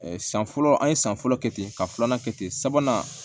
san fɔlɔ an ye san fɔlɔ kɛ ten ka filanan kɛ ten sabanan